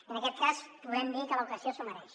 i en aquest cas podem dir que l’ocasió s’ho mereix